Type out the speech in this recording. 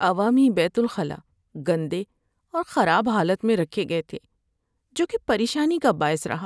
عوامی بیت الخلا گندے اور خراب حالت میں رکھے گئے تھے، جو کہ پریشانی کا باعث رہا۔